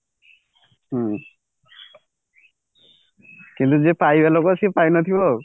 ହୁଁ କିନ୍ତୁ ଯେ ପାଇବା ଲୋକ ସେ ପାଇ ନଥିବ ଆଉ